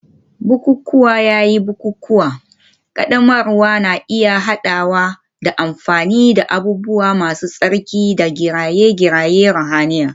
Bukukuwa yayin bukukuwan ƙaddamarwa na iya haɗawa da amfani da abubuwa masu tsarki da kiraye-kirayen ruhaniya.